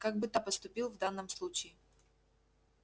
как бы та поступил в данном случае